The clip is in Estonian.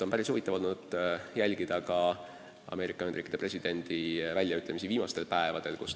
On päris huvitav olnud jälgida Ameerika Ühendriikide presidendi väljaütlemisi viimastel päevadel.